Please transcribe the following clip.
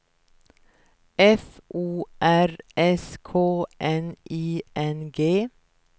F O R S K N I N G